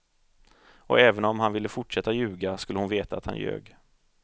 Och även om han ville fortsätta ljuga, skulle hon veta att han ljög.